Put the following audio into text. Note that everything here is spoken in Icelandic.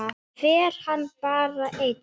Fer hann bara einn?